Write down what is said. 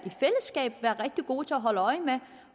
i gode til at holde øje med